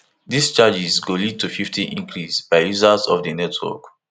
dis charges go lead to fifty increase by users of di network